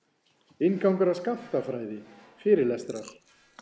Inngangur að skammtafræði, fyrirlestrar.